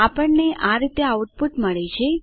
આપણને આ રીતે આઉટપુટ મળે છે